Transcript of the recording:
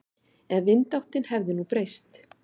Ef vindáttin hefði nú breyst.